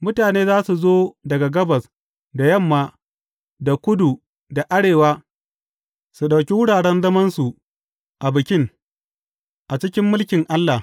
Mutane za su zo daga gabas, da yamma, da kudu, da arewa, su ɗauki wuraren zamansu a bikin, a cikin mulkin Allah.